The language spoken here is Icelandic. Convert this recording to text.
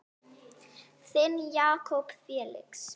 Þinn Jakob Felix.